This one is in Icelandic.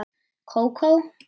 Kókó?